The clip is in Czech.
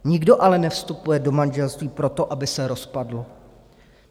Nikdo ale nevstupuje do manželství proto, aby se rozpadlo.